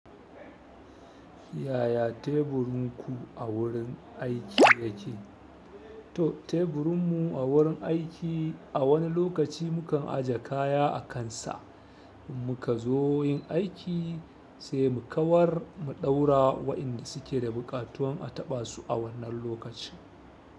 Yaya teburinku a wurin aiki yake? To teburinmu a wurin aiki a wani lokaci mukan aje kaya a kansa. In muka zo yin aiki sai mu kawar mu ɗaura wa'inda suke da buƙatuwan a taɓa su a wannan lokacin.